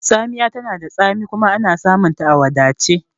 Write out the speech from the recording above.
Tsamiya tana da tsami kuma ana samunta a wadace